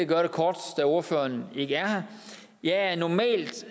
gøre det kort da ordføreren ikke er her jeg er normalt